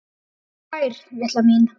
Og fær, litla mín.